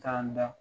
K'an da